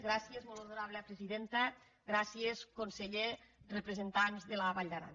gràcies molt honorable consellera gràcies conseller representants de la vall d’aran